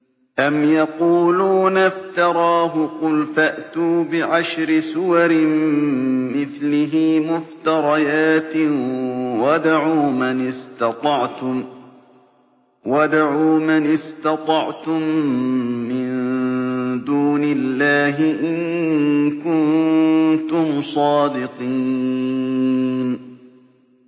أَمْ يَقُولُونَ افْتَرَاهُ ۖ قُلْ فَأْتُوا بِعَشْرِ سُوَرٍ مِّثْلِهِ مُفْتَرَيَاتٍ وَادْعُوا مَنِ اسْتَطَعْتُم مِّن دُونِ اللَّهِ إِن كُنتُمْ صَادِقِينَ